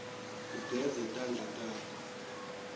ugeze tandla takho